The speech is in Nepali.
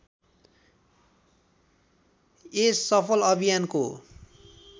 यस सफल अभियानको